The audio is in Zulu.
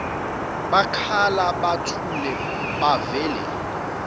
bakhala buthule bavele